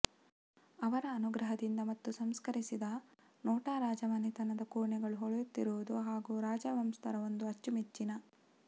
ಅವರ ಅನುಗ್ರಹದಿಂದ ಮತ್ತು ಸಂಸ್ಕರಿಸಿದ ನೋಟ ರಾಜಮನೆತನದ ಕೋಣೆಗಳು ಹೊಳೆಯುತ್ತಿರುವುದು ಹಾಗು ರಾಜವಂಶಸ್ಥರ ಒಂದು ಅಚ್ಚುಮೆಚ್ಚಿನ